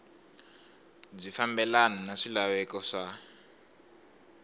byi fambelana na swilaveko swa